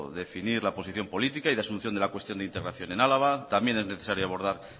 definir la posición política y de asunción de la cuestión de integración en álava también es necesario abordar